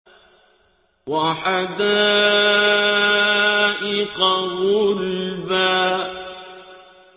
وَحَدَائِقَ غُلْبًا